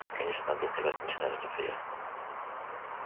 конечно надо указать начинаю злиться я